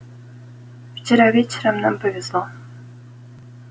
вчера вечером нам повезло